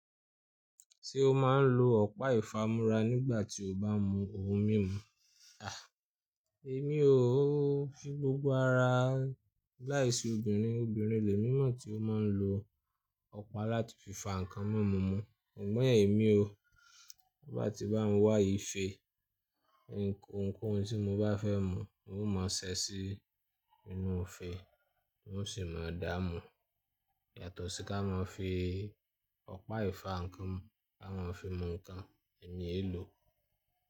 Tí ó máa ń lo ọ̀pá ìfámúrà nígbà tí ó bá ń mu ohun mímu. À, èmi ò o fi gbogbo ara láì se obìnrin, obìnrin lè mí mọ̀ tí ó máa ń lo ọ̀pá láti fi fà nkán mímu mu. Sugbon èmi ò, ti e báà tí bá ń wá ìfe, ohun kohun tí mo bá fẹ́ mu, uhm máa ṣẹ́ sí inú ifé, uhm sì máa dáa mu. Yàtọ̀ sí ká máa fii ọ̀pá ìfá nkán mu ká máa fi mu nkán, èmi è lò.